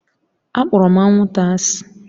Akpọrọ m anwụnta asị